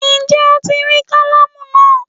Ǹjé Ó ti rí kálámù náà